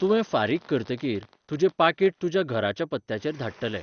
तुवें फारीक करतकीर, तुजें पाकीट तुज्या घराच्या पत्त्याचेर धाडटले.